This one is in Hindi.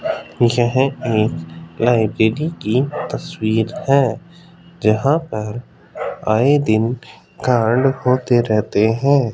यह एक लाइब्रेरी की तस्वीर है जहां पर आये दिन कांड होते रहते है।